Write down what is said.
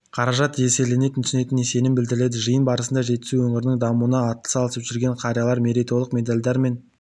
қаражат еселене түсетініне сенім білдірді жиын барысында жетісу өңірінің дамуына атсалысып жүрген қариялар мерейтойлық медальдармен